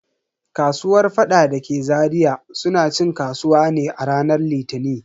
Kasuwar faɗa dake Zaria suna cin kasuwa ne a ranar Litini.